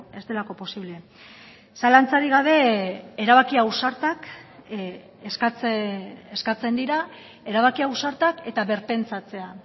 ez delako posible zalantzarik gabe erabaki ausartak eskatzen dira erabaki ausartak eta birpentsatzea